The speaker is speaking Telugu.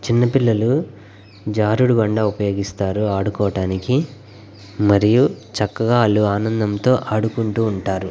చిన్న పిల్లలు జారుడు బండ ఉపయోగిస్తారు ఆడుకోటానికి మరియు చక్కగా వాళ్ళు ఆనందంతో ఆడుకుంటూ ఉంటారు.